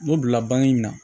N'o bila bange in na